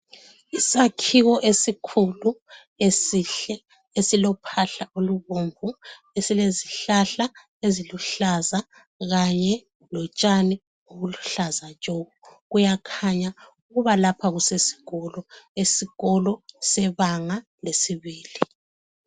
Isakhiwo esikhulu esihle esilophahla olubomvu esilezihlahla eziluhlaza kanye lotshani obuluhlaza tshoko, kuyakhanya ukuba lapha kuseskolo ,esikolo sebanga lesibili